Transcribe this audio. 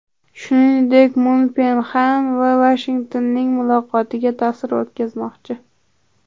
Shuningdek, Mun Pxenyan va Vashingtonning muloqotiga ta’sir o‘tkazmoqchi.